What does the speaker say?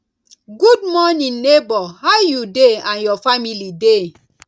good morning neighbor how you dey and your family dey